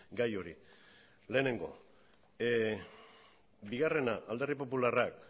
gai hori lehenengo bigarrena alderdi popularrak